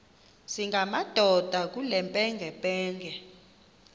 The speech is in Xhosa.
singamadoda kule mpengempenge